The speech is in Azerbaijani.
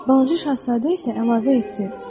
Balaca şahzadə isə əlavə etdi: